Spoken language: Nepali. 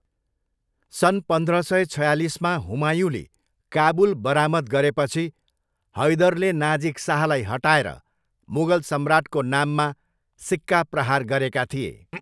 सन् पन्ध्र सय छयालिसमा हुमायूँले काबुल बरामद गरेपछि हैदरले नाजिक शाहलाई हटाएर मुगल सम्राटको नाममा सिक्का प्रहार गरेका थिए।